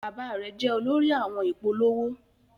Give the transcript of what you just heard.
Bàbá rẹ jẹ olórí àwọn ìpolówó.